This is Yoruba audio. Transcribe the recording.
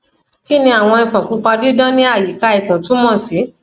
kini awọn ifon pupa didan ni ayika ikun tumọ si